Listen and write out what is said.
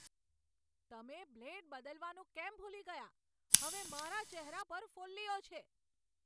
તમે બ્લેડ બદલવાનું કેમ ભૂલી ગયા? હવે મારા ચહેરા પર ફોલ્લીઓ છે!